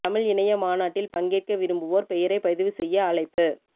தமிழ் இணைய மாநாட்டில் பங்கேற்க விரும்புவோர் பெயரைப் பதிவு செய்ய அழைப்பு